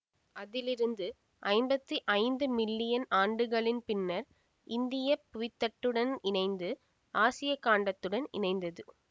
அதிலிருந்து ஐம்பத்தி ஐந்து மில்லியன் ஆண்டுகளின் பின்னர் இந்திய புவித்தட்டுடன் இணைந்து ஆசியாக் கண்டத்துடன் இணைந்தது